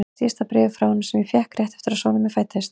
Síðasta bréfið frá honum fékk ég rétt eftir að sonur minn fæddist.